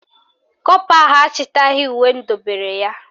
Kọpa ahụ achịtaghị uwe m dobere ya